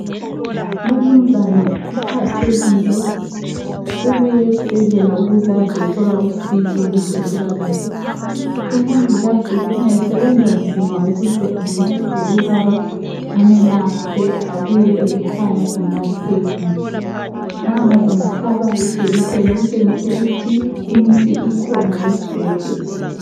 Lumnuzana uphathekile ,ubuye esibhedlela ukuze azothola usizo lwezempilakahle , umongikazi ukhanya esebenza nzima ukuze ancede lobaba amelaphe abuyele ekhaya elaphekile, nango umhlaba lejekisi okutshengisa ukuthi imithi ikhona ezibhedlela